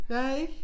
Ja ik